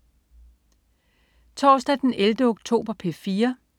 Torsdag den 11. oktober - P4: